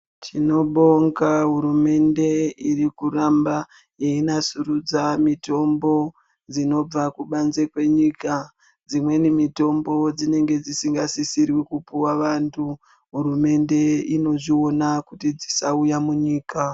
Tinobonga hurumende irikuramba yeinasurudza mitombo dzinobva kubanze kwenyika. Dzimweni mitombo dzinenge dzisingasisiri kupuwa vantu hurumende inozviona kuti dzisauya munyika.